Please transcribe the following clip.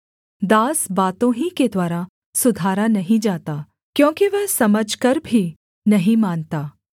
दास बातों ही के द्वारा सुधारा नहीं जाता क्योंकि वह समझकर भी नहीं मानता